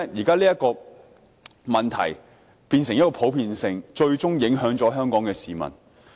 所以，這個問題現在變得很普遍，最終影響了香港的市民。